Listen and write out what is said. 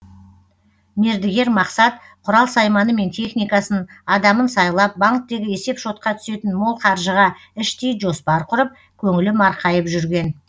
мердігер мақсат құрал сайманы мен техникасын адамын сайлап банктегі есеп шотқа түсетін мол қаржыға іштей жоспар құрып көңілі марқайып жүрген